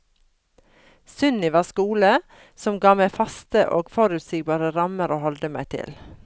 Sunniva skole, som ga meg faste og forutsigbare rammer å holde meg til.